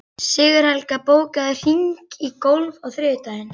Sigurhelga, bókaðu hring í golf á þriðjudaginn.